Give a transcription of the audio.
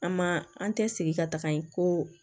An ma an tɛ sigi ka taga yen ko